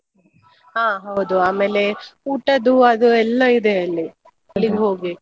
ಹಾ ಹೌದು. ಆಮೇಲೆ ಊಟದು ಅದು ಎಲ್ಲಾ ಇದೆ ಅಲ್ಲಿ ಹೋಗ್ಬೇಕು.